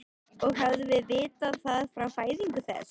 Og hefðum vitað það frá fæðingu þess.